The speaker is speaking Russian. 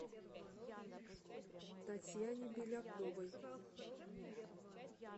татьяне беляковой